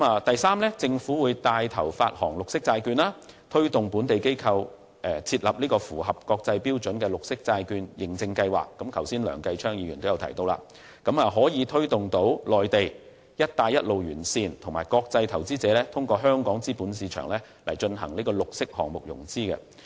第三，政府會帶頭發行綠色債券，推動本地機構設立符合國際標準的綠色債券認證計劃，梁繼昌議員剛才也有提到，從而推動內地"一帶一路"沿線和國際投資者通過香港資本市場進行綠色項目融資。